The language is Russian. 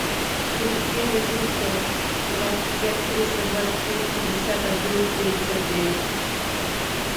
плюс три восемьсот двадцать пять триста двадцать шесть пятьдесят один семьдесят девять